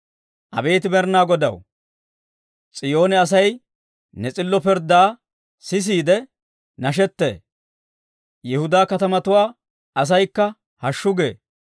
Abeet Med'inaa Godaw, S'iyoone asay, ne s'illo pirddaa sisiide nashettee; Yihudaa katamatuwaa asaykka hashshu gee.